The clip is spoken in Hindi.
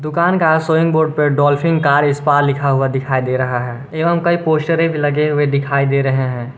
दुकान का शोइंग बोर्ड पर डॉल्फिन कार स्पा लिखा हुआ दिखाई दे रहा है। एवं कई पोस्टरे लगे हुए दिखाई दे रहें है।